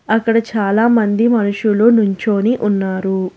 అక్కడ చాలామంది మనుషులు నుంచొని ఉన్నారు.